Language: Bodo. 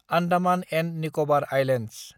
Andaman and Nicobar islands